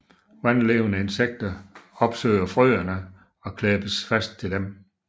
Vandlevende insekter opsøger frøene og klæbes fast til dem